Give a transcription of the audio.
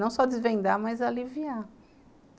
Não só desvendar, mas aliviar.